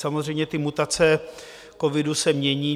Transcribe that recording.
Samozřejmě ty mutace covidu se mění.